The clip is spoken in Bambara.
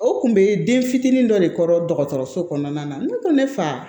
O tun bɛ den fitinin dɔ de kɔrɔ dɔgɔtɔrɔso kɔnɔna na ne ko ne fa